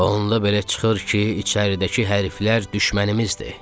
Onda belə çıxır ki, içəridəki hərflər düşmənimizdir.